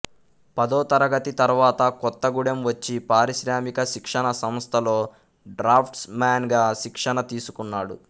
పదో తరగతి తరువాత కొత్తగూడెం వచ్చి పారిశ్రామిక శిక్షణా సంస్థలో డ్రాఫ్ట్స్ మాన్ గా శిక్షణ తీసుకున్నాడు